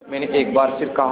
मैंने एक बार फिर कहा